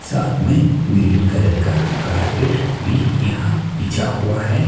साथ में green colour का कारपेट भी यहां बिछा हुआ है।